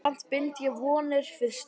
Samt bind ég vonir við Stefán.